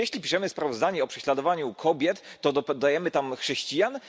Czy jeśli piszemy sprawozdanie o prześladowaniu kobiet, to dodajemy tam chrześcijan?